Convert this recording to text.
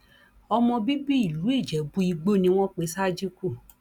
ọmọ bíbí ìlú ijẹbùìgbò ni wọn pe sádíkù